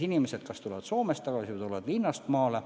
Inimesed kas tulevad Soomest tagasi või tulevad linnast maale.